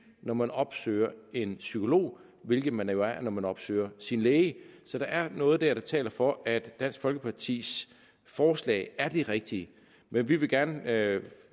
når man opsøger en psykolog hvilket man jo er når man opsøger sin læge så der er noget dér der taler for at dansk folkepartis forslag er det rigtige men vi vil gerne